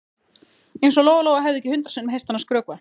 Eins og Lóa Lóa hefði ekki hundrað sinnum heyrt hana skrökva.